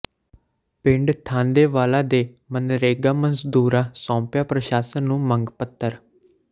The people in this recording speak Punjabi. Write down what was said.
ਪਿੰਡ ਥਾਂਦੇਵਾਲਾ ਦੇ ਮਨਰੇਗਾ ਮਜ਼ਦੂਰਾਂ ਸੌਂਪਿਆ ਪ੍ਰਸ਼ਾਸਨ ਨੂੰ ਮੰਗ ਪੱਤਰ